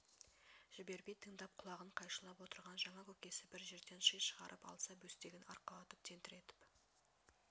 жібермей тыңдап құлағын қайшылап отырған жаңа көкесі бір жерден ши шығарып алса бөстегін арқалатып тентіретіп